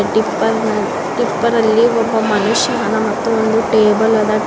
Tipper ನ-ಟಿಪ್ಪರ ಲ್ಲಿ ಒಬ್ಬ ಮನುಷ್ಯದನ ಮತ್ತು ಒಂದು ಟೇಬಲ್ ಅದ.